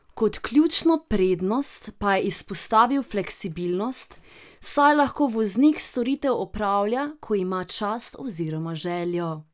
Kot ključno prednost pa je izpostavil fleksibilnost, saj lahko voznik storitev opravlja, ko ima čas oziroma željo.